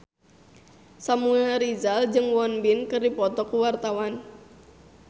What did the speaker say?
Samuel Rizal jeung Won Bin keur dipoto ku wartawan